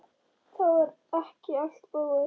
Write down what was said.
Það er ekki allt búið.